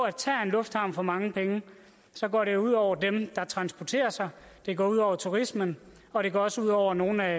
at tager en lufthavn for mange penge så går det ud over dem der transporterer sig det går ud over turismen og det går også ud over nogle af